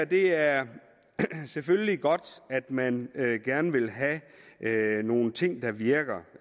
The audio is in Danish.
det er selvfølgelig godt at man gerne vil have nogle ting der virker